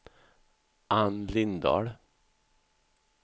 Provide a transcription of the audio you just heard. Anne Lindahl